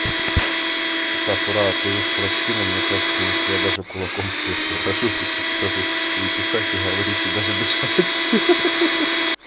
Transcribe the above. сакура ты уж прости но мне кажется если я даже кулаком тебе приложу то ты разучишься и писать и говорить и даже дышать хи-хи